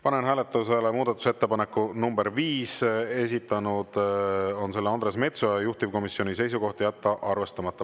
Panen hääletusele muudatusettepaneku nr 5, esitanud on selle Andres Metsoja, juhtivkomisjoni seisukoht: jätta arvestamata.